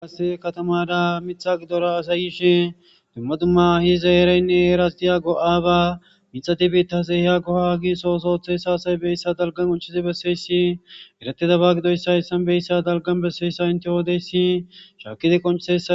Qassi kathamaara miththaa giddora asay yishe dumma dumma heeraynne heeraassi go7aabaa immiya biiththazi de7iya go7aa giigissuwa ooso ooththiya asathi de7oosona; shaakkidikka qonccisseesi.